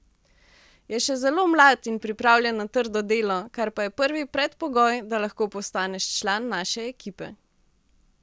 Je še zelo mlad in pripravljen na trdo delo, kar pa je prvi predpogoj, da lahko postaneš član naše ekipe.